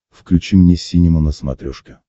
включи мне синема на смотрешке